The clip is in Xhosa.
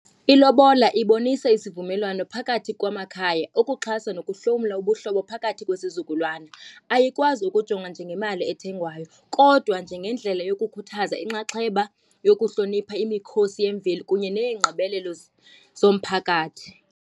Ilobola ibonisa isivumelwano phakathi kwamakhaya ukuxhasa nokuhlomla ubuhlobo phakathi kwesizukulwana. Ayikwazi ukujongwa njengemali ethengwayo, kodwa njengendlela yokukhuthaza inxaxheba, yokuhlonipha imikhosi yemveli kunye neengqibelelo zomphakathi.